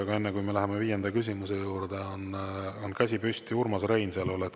Aga enne, kui me läheme viienda küsimuse juurde, on käsi püsti Urmas Reinsalul.